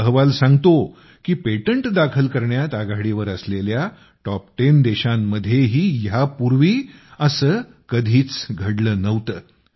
हा अहवाल सांगतो की पेटंट दाखल करण्यात आघाडीवर असलेल्या टॉप10 देशांमध्येही ह्या पूर्वी असे कधीच घडले नव्हते